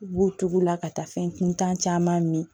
U b'u tugu u la ka taa fɛn kuntan caman min